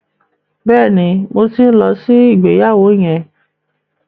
Bẹ́ẹ̀ni, mo ti ń lọ sí ìgbéyàwó yẹn.